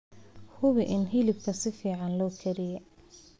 Hubi in hilibka si fiican loo kariyey.